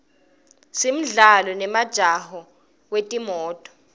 simdlalo nemjaho wetimoto